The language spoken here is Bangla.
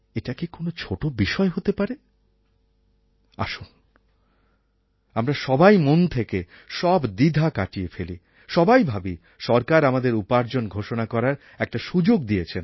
এটা কি কোনো একটা ছোটো বিষয় হতে পারে আসুন আমরা সবাই মন থেকে সব দ্বিধা কাটিয়ে ফেলি সবাই ভাবি সরকার আমাদের উপার্জন ঘোষণা করার একটা সুযোগ দিয়েছেন